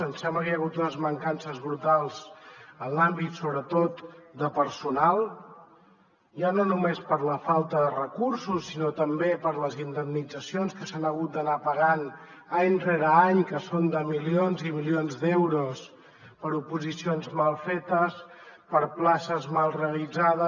ens sembla que hi ha hagut unes mancances brutals en l’àmbit sobretot de personal ja no només per la falta de recursos sinó també per les indemnitzacions que s’han hagut d’anar pagant any rere any que són de milions i milions d’euros per oposicions mal fetes per places mal realitzades